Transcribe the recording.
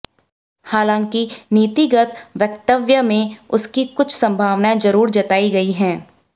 हालांकि नीतिगत वक्तव्य में उसकी कुछ संभावनाएं जरूर जताई गई हैं